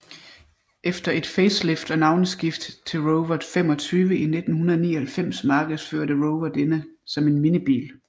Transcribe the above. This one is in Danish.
Efter et facelift og navneskift til Rover 25 i 1999 markedsførte Rover denne som en minibil